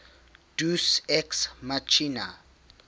deus ex machina